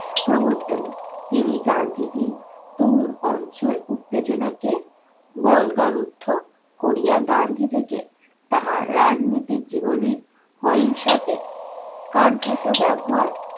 প্রবর্তন তিনি গান্ধীজীর তরুণ অঞ্চল উত্তেজনাকে বল্গার ঊর্ধ্ব করিয়া গান্ধী থেকে তাহার রাজনীতির জীবনে অহিংসাকে কার্যত ব্যবহার